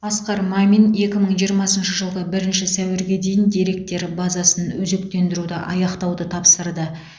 асқар мамин екі мың жиырмасыншы жылғы бірінші сәуірге дейін деректер базасын өзектендіруді аяқтауды тапсырды